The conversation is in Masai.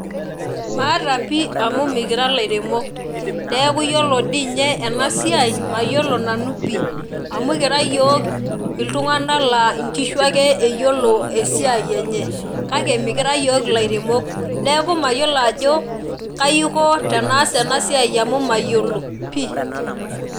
Maata pi amu mikira ilairemok niaku ore dii nye enasiai mayiolo nanu pi amu ikira iyiok iltunganak laa nkishu ake eyiolo esiai enye kake mikira iyiok ilairemok niaku mayiolo ajo kai aiko tenaas enasiai amu mayiolo pi.